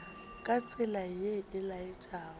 ka tsela ye e laetšago